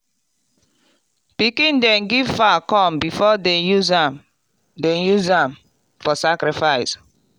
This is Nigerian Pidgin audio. pikin dey give fowl corn before dem use am dem use am for sacrifice.